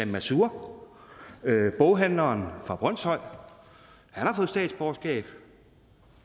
mansoor boghandleren fra brønshøj og han har fået statsborgerskab